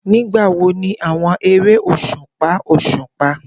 Nigbawo ni awọn ere oṣupa oṣupa?